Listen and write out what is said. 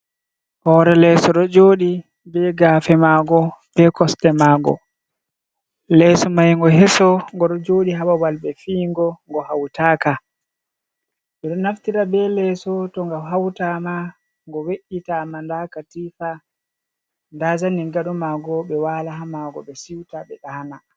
Hoore leeso ɗo jooɗii be gaafe mango, be kosɗe mango, leeso mai ngo heso, ngo ɗo jooɗii haababal ɓe fii'ngo, ngo hautaaka ɓeɗo naftira be leeso to ngo hautama, ngo we’’ita ma nda katifa, nda zanin gado maango ɓe wala ha maango ɓe si'uta ɓe ɗa'ana.